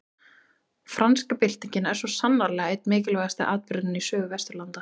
Franska byltingin er svo sannarlega einn mikilverðasti atburðurinn í sögu Vesturlanda.